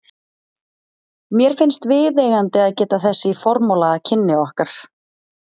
Mér finnst viðeigandi að geta þess í formála að kynni okkar